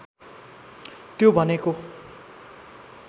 त्यो भनेको